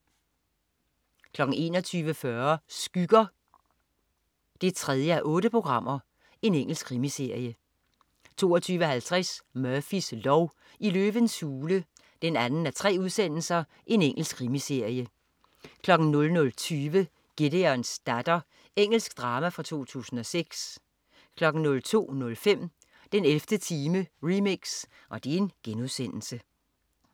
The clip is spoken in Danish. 21.40 Skygger 3:8. Engelsk krimiserie 22.50 Murphys lov: I løvens hule 2:3. Engelsk krimiserie 00.20 Gideons datter. Engelsk drama fra 2006 02.05 den 11. time remix*